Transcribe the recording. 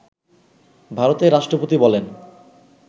ভারতের রাষ্ট্রপতি বলেন